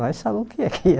Nós sabemos o que é que é.